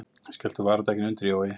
Skelltu varadekkinu undir, Jói!